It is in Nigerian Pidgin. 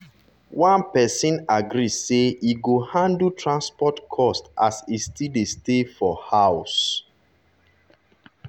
one person agree say e go handle transport cost as e still dey stay for house.